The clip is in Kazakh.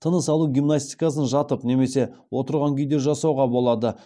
тыныс алу гимнастикасын жатып немесе отырған күйде жасауға болады